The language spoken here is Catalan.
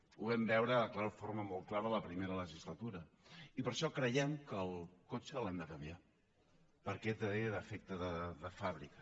ho vam veure de forma molt clara en la primera legislatura i per això creiem que el cotxe l’hem de canviar perquè té defecte de fàbrica